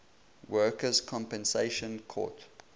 workers compensation court